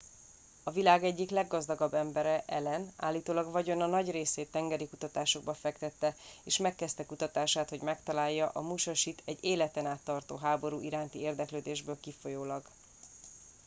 a világ egyik leggazdagabb embere allen állítólag vagyona nagy részét tengeri kutatásokba fektette és megkezdte kutatását hogy megtalálja a musashit egy életen át tartó háború iránti érdeklődésből kifolyólag